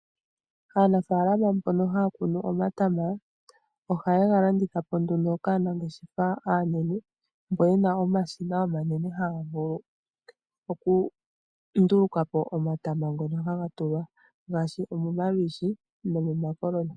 Aanafaalama mbono haya kunu omatama ohaye ga landitha po nduno kaanangeshefa aanene mbo ye na omashina omanene haga vulu okunduluka po omatama ngono ha ga tulwa ngaashi omomalwiishi nomomakoloni.